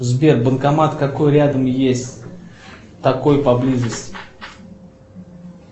сбер банкомат какой рядом есть такой поблизости